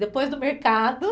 Depois do mercado?